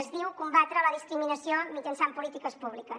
es diu combatre la discriminació mitjançant polítiques públiques